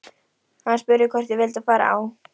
Hann spurði hvort ég vildi fara á